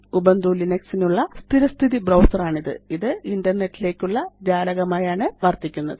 Ubuntu Linux നുള്ള സ്ഥിരസ്ഥിതി browser ആണിത് ഇത് ഇന്റർനെറ്റ് ലേയ്ക്കുള്ള ജാലകമായാണ് വര്ത്തിക്കുന്നത്